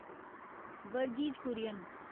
Verghese Kurien